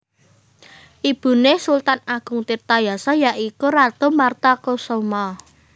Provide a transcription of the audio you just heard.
Ibune Sultan Agung Tirtayasa ya iku Ratu Martakusuma